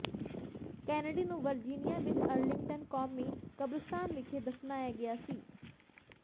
Kennedy ਨੂੰ Virginia ਵਿਚ Arlington ਕੌਮੀ ਕਬਰਸਤਾਨ ਵਿਖੇ ਦਫਨਾਇਆ ਗਿਆ ਸੀ